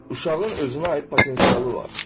Uşağın özünə aid potensialı var.